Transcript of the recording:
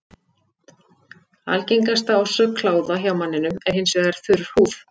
Algengasta orsök kláða hjá manninum er hins vegar þurr húð.